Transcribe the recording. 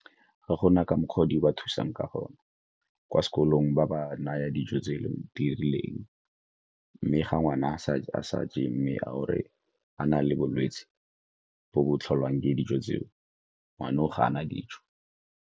Ga gona ka mokgwa o di ba thusang ka gone, kwa sekolong ba ba naya dijo tseno di rileng. Mme ga ngwana ga a sa je mme a gore a na le bolwetse bo bo tlholang ke dijo tseo, ngwana o ga a na dijo.